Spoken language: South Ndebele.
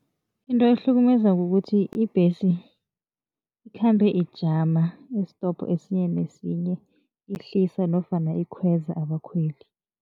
Into ekuhlukumezako kukuthi ibhesi ikhambe ijama isitopo esinye nesinye ihlisa nofana ikhweza abakhweli.